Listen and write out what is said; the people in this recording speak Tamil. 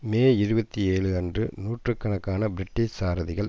மே இருபத்தி ஏழு அன்று நூற்று கணக்கான பிரிட்டிஷ் சாரதிகள்